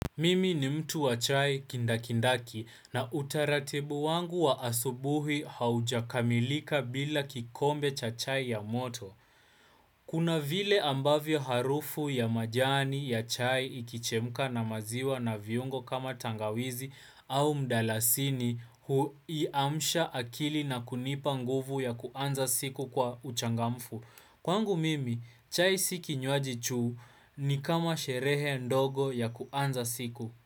Mimi ni mtu wa chai kindakindaki na utaratibu wangu wa asubuhi haujakamilika bila kikombe cha chai ya moto. Kuna vile ambavyo harufu ya majani ya chai ikichemka na maziwa na viungo kama tangawizi au mdalasini huiamsha akili na kunipa nguvu ya kuanza siku kwa uchangamfu. Kwangu mimi, chai si kinywaji tu ni kama sherehe ndogo ya kuanza siku.